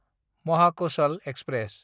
Mahakoshal express